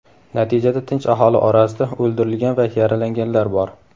Natijada tinch aholi orasida o‘ldirilgan va yaralanganlar bor.